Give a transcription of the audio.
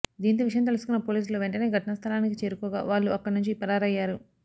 దీంతో విషయం తెలుసుకున్న పోలీసులు వెంటనే ఘటనా స్ధలానికి చేరుకోగా వాళ్లు అక్కడి నుంచి పరారయ్యారు